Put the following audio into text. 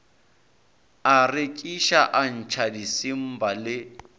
a rekiša atšha disimba le